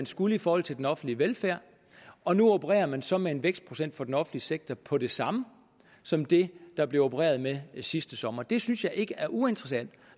skulle i forhold til den offentlige velfærd og nu opererer man så med en vækstprocent for den offentlige sektor på det samme som det der blev opereret med sidste sommer det synes jeg ikke er uinteressant